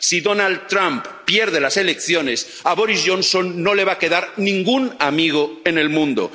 Si Donald Trump pierde las elecciones, a Boris Johnson no le va a quedar ningún amigo en el mundo.